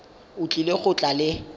o tlile go tla le